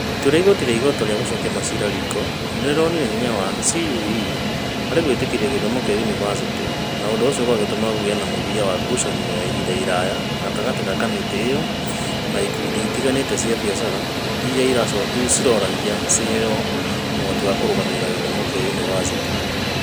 ĩtua rĩa igooti rĩa igoto rĩa gucokia macira riko nĩ rĩonanirie hinya wa CũE harĩ gwĩtĩkĩria gĩthomo kĩa yunivasĩtĩ, na ũndũ ũcio ũgĩtũma kũgĩe na mũthia wa ngucanio ya ihinda iraya gatagatĩ ka kamĩtĩ ĩyo na ikundi itiganĩte cia biacara iria cioragia ciheo ũhoti wa kũrũgamĩrĩra gĩthomo kĩa yunivacĩtĩ.